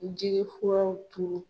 Jigi furaw turu.